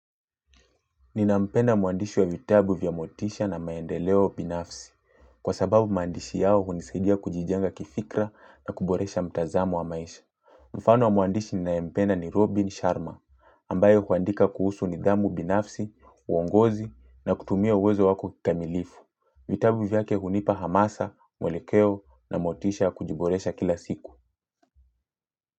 Ninampenda mwandishi wa vitabu vya motisha na maendeleo binafsi. Kwa sababu maandishi yao hunisaidia kujijenga kifikra na kuboresha mtazamu wa maisha. Mfano wa mwandishi ninayempenda ni Robin Sharma ambaye huandika kuhusu nidhamu binafsi, uongozi na kutumia uwezo wako kikamilifu. Vitabu vyake hunipa hamasa, mwelekeo na motisha kujiboresha kila siku.